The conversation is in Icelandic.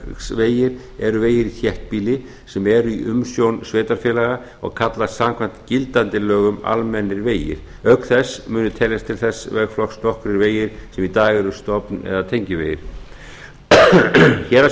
sveitarfélagavegir eru vegir í þéttbýli sem eru í umsjón sveitarfélaga og kallast samkvæmt gildandi lögum almennir vegir auk þess munu teljast til þess vegflokks nokkrir vegir sem í dag eru stofn eða tengivegir héraðsvegir